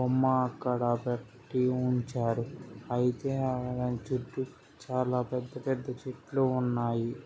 బొమ్మ అక్కడ పెట్టి ఉంచారు. అయితే అడా చెట్టు చాలా పెద్ద పెద్ద చెట్లు ఉన్నాయి.